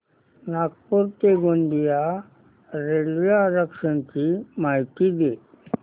नागपूर ते गोंदिया रेल्वे आरक्षण ची माहिती दे